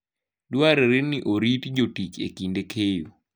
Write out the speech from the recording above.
Dwarore ni orit jotich e kinde keyo.